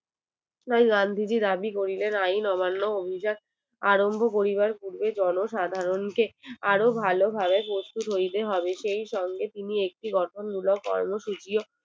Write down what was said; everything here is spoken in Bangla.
গান্ধীজি দাবি করিলেন আইয়িন অমান্য অভিযান আরম্ভ করিবার পূর্বে জন সাধারণ কে আরো ভালো ভাবে সুস্থ করিতে হবে সেই সঙ্গে তিনি একটি গঠন মূলক কর্যসূচি